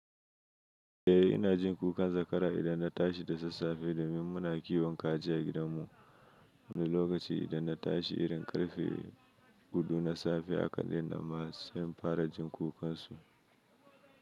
Eh, ina jin kukan zakara idan na tashi da sassafe domin muna kiwon kaji a gidanmu. Wani lokaci idan na tashi, irin karfe hudu na safe haka daina masu sai im fara jin kukansu.